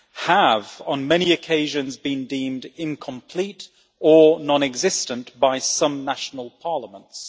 have, on many occasions, been deemed incomplete or non-existent by some national parliaments.